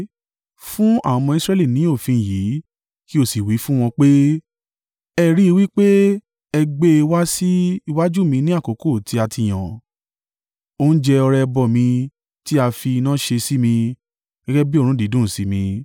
“Fún àwọn ọmọ Israẹli ní òfin yìí kí o sì wí fún wọn pé: ‘Ẹ rí i wí pé ẹ gbé e wá sí iwájú mi ní àkókò tí a ti yàn, oúnjẹ ọrẹ ẹbọ mi tí a fi iná ṣe sí mi, gẹ́gẹ́ bí òórùn dídùn sí mi.’